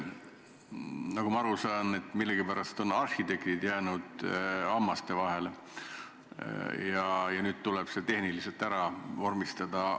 Nagu ma aru saan, on millegipärast arhitektid jäänud hammasrataste vahele ja nüüd tuleb see tehniliselt ära vormistada.